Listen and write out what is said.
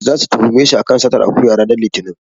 Zasu tuhume shi a kan satar akuya ranar Litinin.